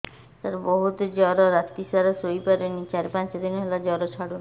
ସାର ବହୁତ ଜର ରାତି ସାରା ଶୋଇପାରୁନି ଚାରି ପାଞ୍ଚ ଦିନ ହେଲା ଜର ଛାଡ଼ୁ ନାହିଁ